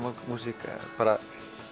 músík bara